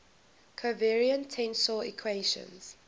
covariant tensor equations